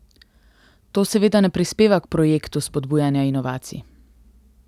To seveda ne prispeva k projektu spodbujanja inovacij.